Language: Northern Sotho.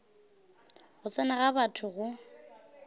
go tsena ga batho go